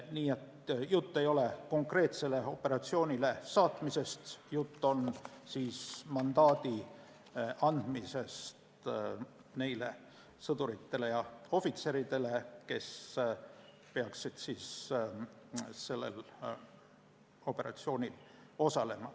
Nii et jutt ei ole mitte konkreetsele operatsioonile saatmisest, vaid mandaadi andmisest neile sõduritele ja ohvitseridele, kes peaksid sellel operatsioonil osalema.